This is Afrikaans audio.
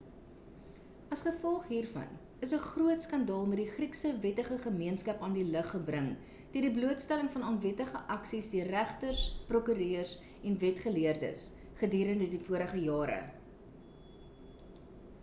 as gevolg hiervan is 'n groot skandaal met die griekse wettige gemeenskap aan die lig gebring deur die blootstelling van onwettige aksies deur regters prokureurs en wetsgeleerdes gedurende die vorige jare